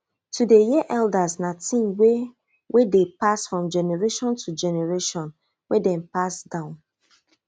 to dey hear elders na thing wey wey dey pass from generation to generation wey dem pass down